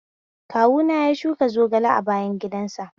Kawuna ya shuka zogale a bayan gidan sa